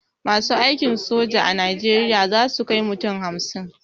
Masu aikin soja a najeriya zasu kai mutum hamsin